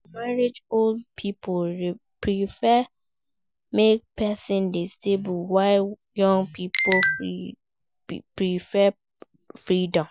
For marriage old pipo prefer make persin de stable while young pipo prefer freedom